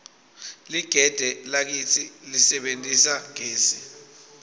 ligede lakitsi lisebentisa gesi